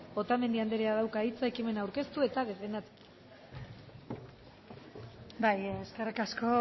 otamendi andereak dauka hitza ekimena aurkeztu eta defendatzeko bai eskerrik asko